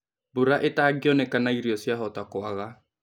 Mbũra ĩtangĩonekana irio ciahota kwaga